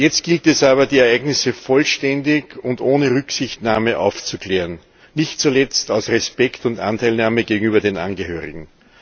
Jetzt gilt es aber, die Ereignisse vollständig und ohne Rücksichtnahme aufzuklären, nicht zuletzt aus Respekt und Anteilnahme gegenüber den Angehörigen.